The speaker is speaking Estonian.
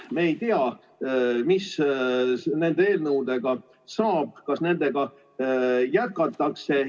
Me ei tea, mis nende eelnõudega saab, kas nendega jätkatakse.